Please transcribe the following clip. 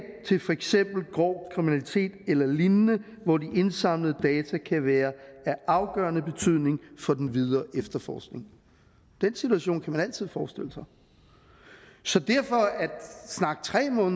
til for eksempel grov kriminalitet eller lignende hvor de indsamlede data kan være af afgørende betydning for den videre efterforskning den situation kan man altid forestille sig så